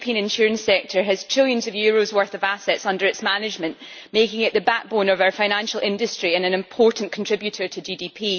The European insurance sector has trillions of euros worth of assets under its management, making it the backbone of our financial industry and an important contributor to GDP.